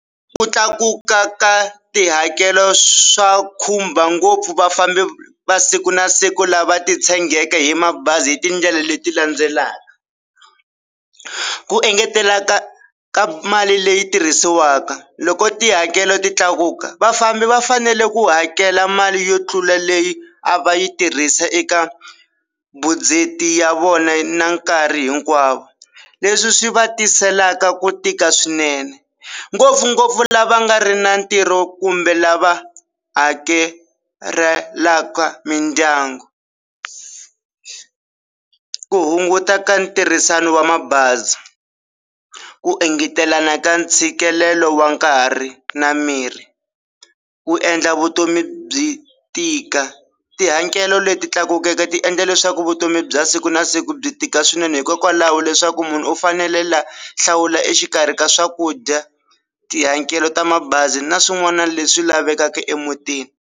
Ku tlakuka ka tihakelo swa khumba ngopfu vafambi va siku na siku lava titshegeke hi mabazi hi tindlela leti landzelaka, ku engeteleka ka mali leyi tirhisiwaka loko tihakelo ti tlakuka vafambi va fanele ku hakela mali yo tlula leyi a va yi tirhisa eka ya vona na nkarhi hinkwavo leswi swi va tiselaka ku tika swinene ngopfungopfu lava nga ri na ntirho kumbe lava hakelelaka mindyangu ku hunguta ka ntirhisano wa mabazi ku engetelana ka ntshikelelo wa nkarhi na miri, ku endla vutomi byi tika tihakelo leti tlakukeke ti endla leswaku vutomi bya siku na siku byi tika swinene hikokwalaho leswaku munhu u fanele la hlawula exikarhi ka swakudya, tihakelo ta mabazi na swin'wana leswi lavekaka emutini.